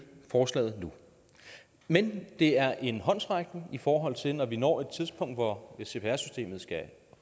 forslaget nu men det er en håndsrækning i forhold til når vi når et tidspunkt hvor cpr systemet skal